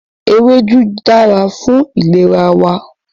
Ewédú dára fún ìlera wa